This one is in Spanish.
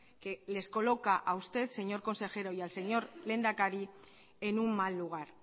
que les coloca a usted señor consejero y al señor lehendakari en un mal lugar